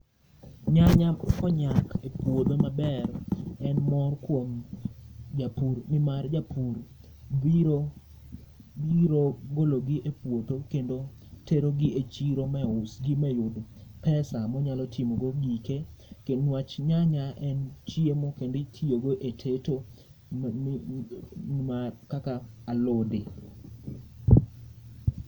Nyanya konyak e puodho maber en mor kuom japur, nimar japur biro, biro gologi e puodho kendo terogi e chiro mausgi mayud pesa monyalo timogo gike. Kendo niwach nyanya en chiemo kenditiyogo e teto m mi ma kaka alode.